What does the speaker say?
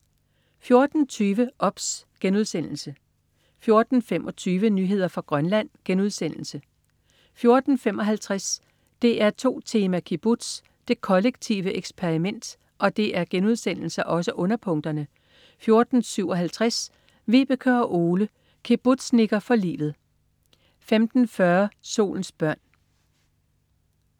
14.20 OBS* 14.25 Nyheder fra Grønland* 14.55 DR2 Tema: Kibbutz. Det kollektive eksperiment* 14.57 Vibeke og Ole, kibbutznikker for livet* 15.40 Solens børn*